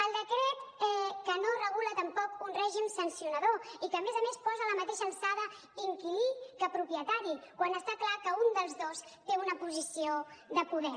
el decret que no regula tampoc un règim sancionador i que a més a més posa a la mateixa alçada inquilí que propietari quan està clar que un dels dos té una posició de poder